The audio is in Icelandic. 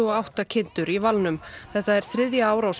átta kindur í valnum þetta er þriðja árás